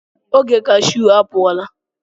Oge cashew apụ ọ la.